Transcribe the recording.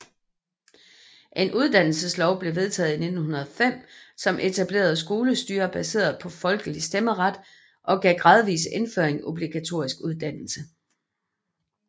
En uddannelseslov blev vedtaget i 1905 som etablerede skolestyre baseret på folkelig stemmeret og gav gradvis indføring af obligatorisk uddannelse